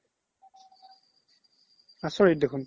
আচৰিত দেখুন